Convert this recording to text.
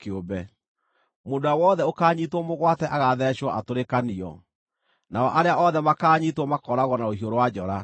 Mũndũ ũrĩa wothe ũkaanyiitwo mũgwate agaathecwo atũrĩkanio; nao arĩa othe makaanyiitwo makooragwo na rũhiũ rwa njora.